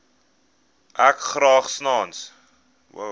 ek graag sans